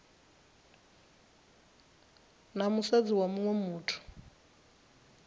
na musadzi wa muṅwe muthu